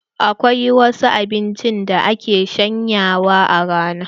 Akwai wasu abincin da ake shanyawa a rana.